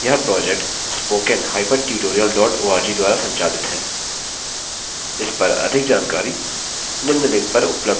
यह project